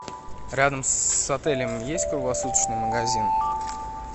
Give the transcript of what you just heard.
рядом с отелем есть круглосуточный магазин